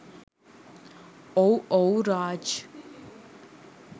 ඔව් ඔව් රාජ්